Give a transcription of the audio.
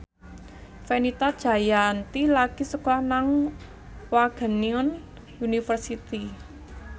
Fenita Jayanti lagi sekolah nang Wageningen University